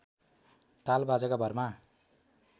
ताल बाजाका भरमा